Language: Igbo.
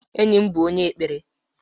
Enyị bụ onye kpere.